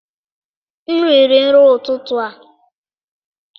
M riri nri ụtụtụ a.